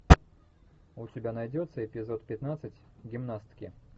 у тебя найдется эпизод пятнадцать гимнастки